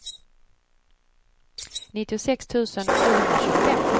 nittiosex tusen sjuhundratjugofem